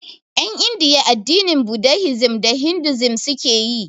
En Indiya addinin budahisim da hindusim suke yi